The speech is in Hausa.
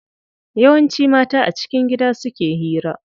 Yawanci mata a cikin gida suke hira.